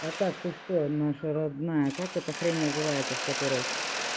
а так ты что наша родная как это хрень называется в которой